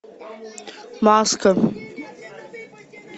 маска